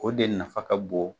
O de nafa ka bon